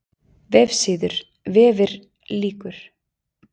VEFSÍÐUR, VEFIR LÝKUR